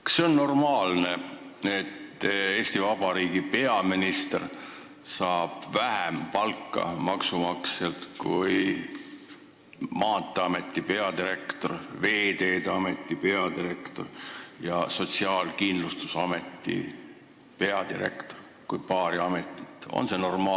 Kas see on normaalne, et Eesti Vabariigi peaminister saab maksumaksjalt vähem palka kui Maanteeameti peadirektor, Veeteede Ameti peadirektor ja Sotsiaalkindlustusameti peadirektor, kui nimetada paari ametit?